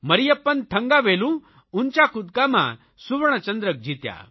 Mariyappan Thangavelu high jump ઊંચા કૂદકામાં સુવર્ણચંદ્રક જીત્યા